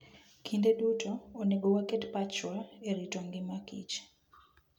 Kinde duto, onego waket pachwa e rito ngimakich.